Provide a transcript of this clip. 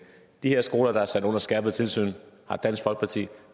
de her skoler der er sat under skærpet tilsyn har dansk folkeparti